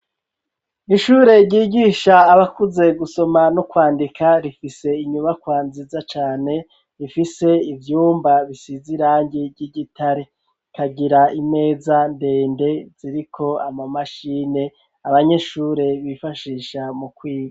Ishure ryigisha abakuze gusoma no kwandika rifise inyubakwa nziza cane, rifise ivyumba bisiz'irangi ry'igitare, rikagira imeza ndende ziriko ama mashini abanyeshure bifashisha mu kwiga.